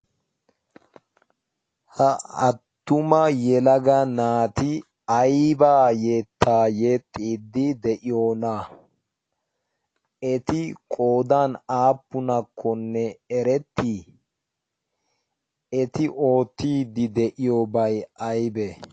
ha attuma yelaga naati aibaa yettaa yexiddi de'iyoona? eti qodan aappunakkonne erettii eti oottiiddi de'iyobay aybee?